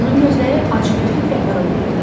Onun gözləri acgözlüklə parıldayırdı.